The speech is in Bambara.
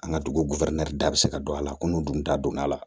An ka dugu da bɛ se ka don a la ko n'u dun ta don a la